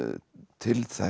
til þess